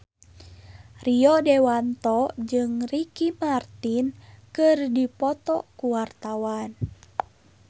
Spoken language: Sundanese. Rio Dewanto jeung Ricky Martin keur dipoto ku wartawan